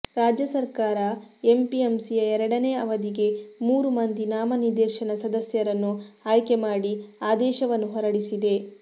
ರಾಜ್ಯ ಸರಕಾರ ಎಪಿಎಂಸಿಯ ಎರಡನೇ ಅವಧಿಗೆ ಮೂರು ಮಂದಿ ನಾಮನಿರ್ದೇಶನ ಸದಸ್ಯರನ್ನು ಆಯ್ಕೆ ಮಾಡಿ ಆದೇಶವನ್ನು ಹೊರಡಿಸಿದೆ